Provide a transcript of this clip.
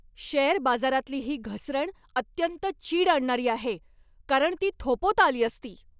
Share बाजारातली ही घसरण अत्यंत चीड आणणारी आहे, कारण ती थोपवता आली असती.